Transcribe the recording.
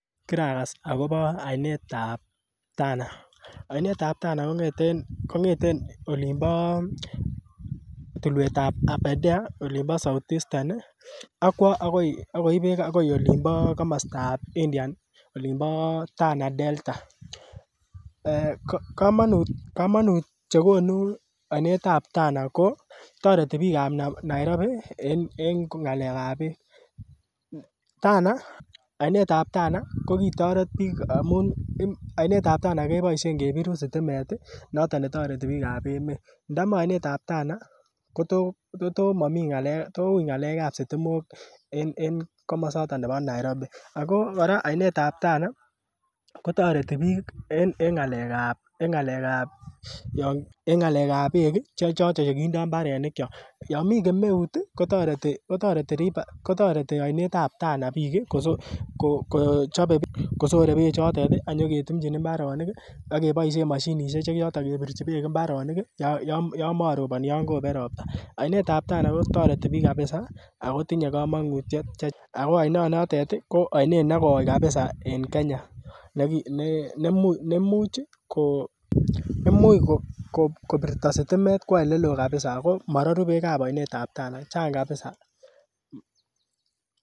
Kiragas akobo oinet ab Tana, oinet ab Tana kong'eten olimbo Tulwet ab Abedea ilimbo South Eastern ii akwo akoib beek agoi komostab Indian olimbo Tana delta, komonut chegonu oinet ab Tana ko toreti biik ab Nairobi en ng'alek ab beek, Tana ii oinet ab Tana kokitoret biik amun oinet ab Tana keboisien kebiru sitimet ii noton nrtoreti biik ab emet, ndomo oinet ab Tana ii toui ng'alek ab sitimok en komoson nebo Nairobi, akokora oinet ab Tana kotoreti biik en ng'alek ab beek ii chegindoi imbarenikyok, yomi kemeut ii kotoreti oinet ab Tana biik ii kosore beek chotet ii ak kinyoketumjin imbarenik ak keboisien moshinisiek che choton chebirji beek imbarenik yomoroboni yon kobet robta, oinet ab Tana kotoreti biik kabza ako tinye komonutiet, ako iononotet ii ko oinet negoi kabza en Kenya neimuch kobirto sitimet kowo oleloo kabiza ako maroru beek ab oinet ab Tana, chang kabiza.